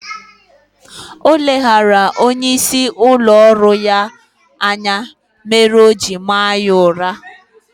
Oleghara onye isi ụlọ ọrụ ya anya mere oji maa ya ụra